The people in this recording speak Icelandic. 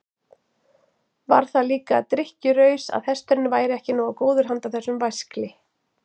Var það líka drykkjuraus að hesturinn væri ekki nógu góður handa þessum væskli?